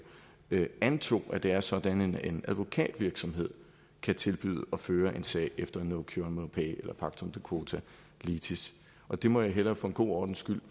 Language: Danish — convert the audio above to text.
antog at det er sådan at en advokatvirksomhed kan tilbyde at føre en sag efter no cure no pay eller pactum de quota litis og der må jeg hellere for god ordens skyld